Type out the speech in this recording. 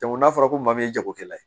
n'a fɔra ko maa min ye jagokɛla ye